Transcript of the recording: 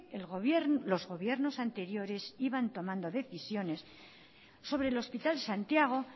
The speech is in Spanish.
los gobiernos anteriores iban tomando decisiones sobre el hospital santiago